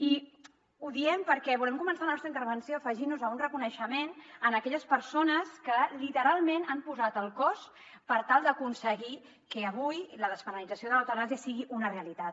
i ho diem perquè volem començar la nostra intervenció afegint nos a un reconeixement a aquelles persones que literalment han posat el cos per tal d’aconseguir que avui la despenalització de l’eutanàsia sigui una realitat